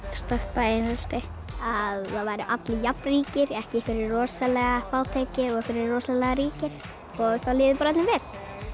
stoppa einelti að það væru allir jafnríkir ekki einhverjir rosalega fátækir og einhverjir rosalega ríkir og það liði bara öllum vel